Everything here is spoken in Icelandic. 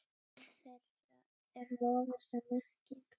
Dóttir þeirra er Lovísa Mekkín.